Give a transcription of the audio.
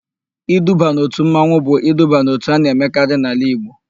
Iduba n'òtù mmanwụ bụ iduba n'òtù a na-emekarị n'ala Igbo.